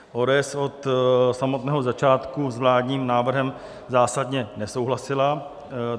ODS od samotného začátku s vládním návrhem zásadně nesouhlasila.